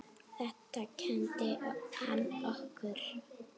Þetta kenndi hann okkur.